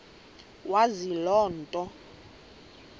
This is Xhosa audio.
wazi loo nto